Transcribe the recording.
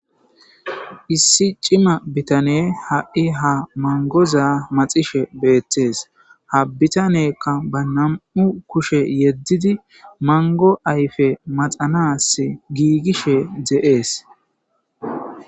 Issi cima bitane ha7i ha mangoza maxishe beettees ha bitanekka ba nam7u kushe yeddidi mango ayfe maxanas giigishe ze7ees.